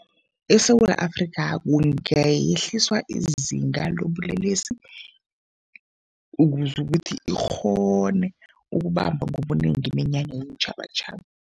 ESewula Afrika kungayehliswa izinga lobulelesi ukuze ukuthi ikghone ukubamba ngobunengi iminyanya yeentjhabatjhaba.